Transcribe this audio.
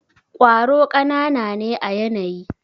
kwaro kanana ne à yanayi.